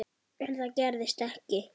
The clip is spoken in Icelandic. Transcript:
En það gerðist ekki.